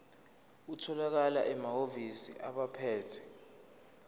atholakala emahhovisi abaphethe